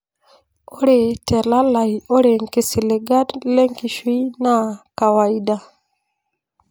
Ore telalai ore nkisiligat lenkishui naa kawaida.